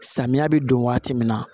Samiya bɛ don waati min na